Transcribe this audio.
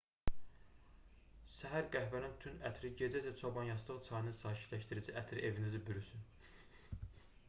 səhər qəhvənin tünd ətri gecə isə çobanyastığı çayının sakitləşdirici ətri evinizi bürüsün